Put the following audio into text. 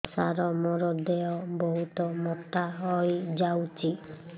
ସାର ମୋର ଦେହ ବହୁତ ମୋଟା ହୋଇଯାଉଛି